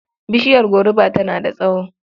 Bishiyar goruba tana da tsawo.